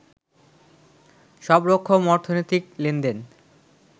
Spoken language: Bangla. সবরকম অর্থনৈতিক লেনদেন